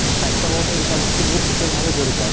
তʼ স্বাস্থ্য়ৰ লগতে দুটা বস্তু বহুত বিশেষ ভাবে জড়িত আছে